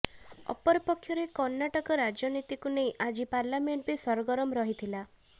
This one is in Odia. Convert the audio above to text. ଅପରପକ୍ଷରେ କର୍ଣ୍ଣାଟକା ରାଜନୀତିକୁ ନେଇ ଆଜି ପାର୍ଲାମେଣ୍ଟ ବି ସରଗରମ ରହିଥିଲା